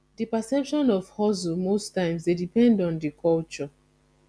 di perception of hustle most times dey depend on di culture